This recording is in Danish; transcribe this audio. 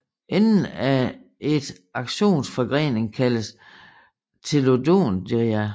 Enden af et aksons forgrening kaldes telodendria